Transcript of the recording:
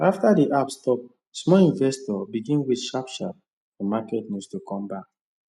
after the app stop small investors begin wait sharp sharp for market news to come back